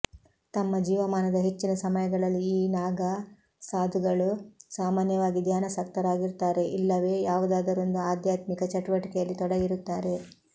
ತಮ್ಮ ಜೀವಮಾನದ ಹೆಚ್ಚಿನ ಸಮಯಗಳಲ್ಲಿ ಈ ನಾಗಾ ಸಾಧುಗಳು ಸಾಮಾನ್ಯವಾಗಿ ಧ್ಯಾನಾಸಕ್ತರಾಗಿರುತ್ತಾರೆ ಇಲ್ಲವೇ ಯಾವುದಾದರೊಂದು ಆಧ್ಯಾತ್ಮಿಕ ಚಟುವಟಿಕೆಯಲ್ಲಿ ತೊಡಗಿರುತ್ತಾರೆ